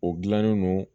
O gilannen no